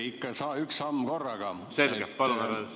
Ikka üks samm korraga.